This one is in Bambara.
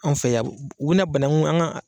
Anw fɛ yan u bi na banaŋu an ŋa